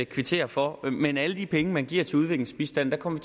kvittere for men med alle de penge man giver til udviklingsbistand kommer